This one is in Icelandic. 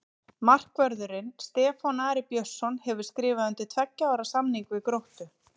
Markvörðurinn Stefán Ari Björnsson hefur skrifað undir tveggja ára samning við Gróttu.